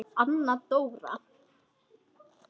Anna Dóra!